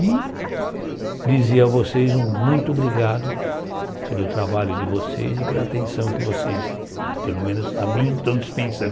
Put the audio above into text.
E dizer a vocês um muito obrigado pelo trabalho de vocês e pela atenção que vocês, pelo menos a mim, estão dispensando.